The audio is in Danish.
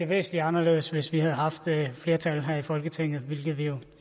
væsentligt anderledes hvis vi havde haft flertallet her i folketinget hvilket vi jo